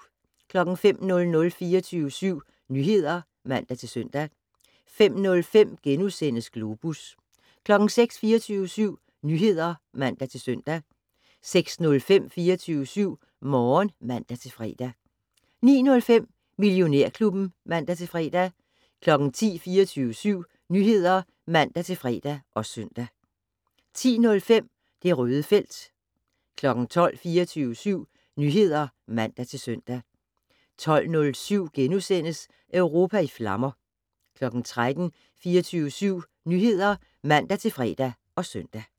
05:00: 24syv Nyheder (man-søn) 05:05: Globus * 06:00: 24syv Nyheder (man-søn) 06:05: 24syv Morgen (man-fre) 09:05: Millionærklubben (man-fre) 10:00: 24syv Nyheder (man-fre og søn) 10:05: Det Røde felt 12:00: 24syv Nyheder (man-søn) 12:07: Europa i flammer * 13:00: 24syv Nyheder (man-fre og søn)